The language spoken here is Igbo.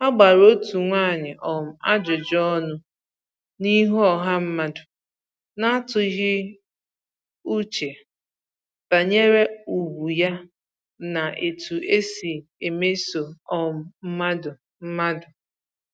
A gbara otu nwaanyị um ajụjụ ọnụ n’ihu ọha mmadụ, na-atụghị uche banyere ugwu ya na etu e si emeso um mmadụ mmadụ